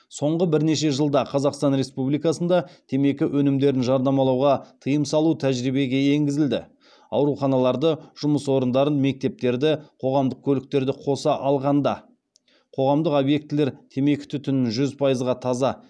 соңғы бірнеше жылда қазақстан республикасында темекі өнімдерін жарнамалауға тыйым салу тәжірибеге енгізілді ауруханаларды жұмыс орындарын мектептерді қоғамдық көліктерді қоса алғанда қоғамдық объектілер темекі түтінін жүз пайызға таза